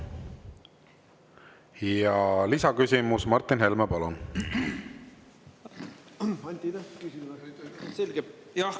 Ja lisaküsimus, Martin Helme, palun!